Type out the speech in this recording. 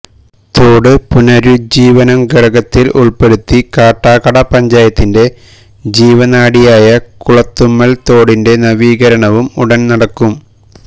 തോട് പുനരുജ്ജീവനം ഘടകത്തിൽ ഉൾപ്പെടുത്തി കാട്ടാക്കട പഞ്ചായത്തിന്റെ ജീവനാഡിയായ കുളത്തുമ്മൽ തോടിൻറെ നവീകരണവും ഉടൻ നടക്കും